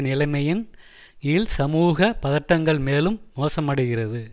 நிலமையின் கீழ் சமூக பதட்டங்கள் மேலும் மோசமடைகிறது